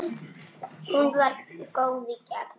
Hún var góð í gegn.